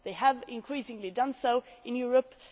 They have increasingly done so in Europe.